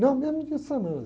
Não, mesmo dia de semana.